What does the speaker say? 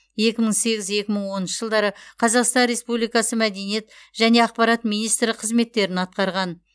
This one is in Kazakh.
екі мың сегіз екі мың оныншы жылдары қазақстан республикасы мәдениет және ақпарат министрі қызметтерін атқарған